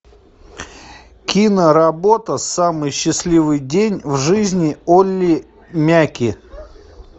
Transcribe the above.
киноработа самый счастливый день в жизни олли мяки